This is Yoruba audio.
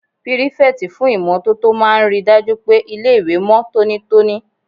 Pírífẹ̀tì fún ìmótótó máa n ríi dájú pé ilé-ìwé mọ́ tónítóní